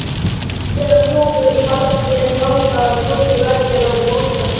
Innandyra tóku kaldir gangar og tómir veggir á móti okkur.